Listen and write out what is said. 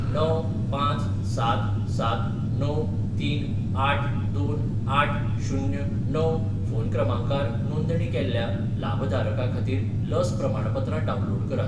णव, पांच, सात, सात, णव, तीन आठ, दोन, आठ, शुन्य, णव फोन क्रमांकार नोंदणी केल्ल्या लाभधारका खातीर लस प्रमाणपत्रां डावनलोड करात.